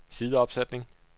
sideopsætning